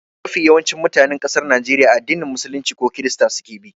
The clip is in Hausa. Mafi yawancin mutanen ƙasar Najeriya addinin musulunci ko krista suke bi.